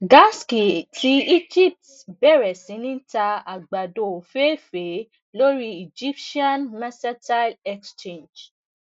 gasc ti egypt bẹrẹ si ni ta àgbàdo ofeefee lori egyptian mercantile exchange